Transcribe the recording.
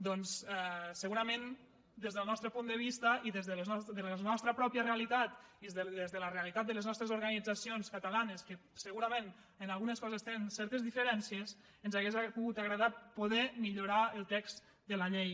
doncs segurament des del nostre punt de vista i des de la nostra pròpia realitat i des de la realitat de les nostres organitzacions cata·lanes que segurament en algunes coses tenen certes diferències ens hauria agradat poder millorar el text de la llei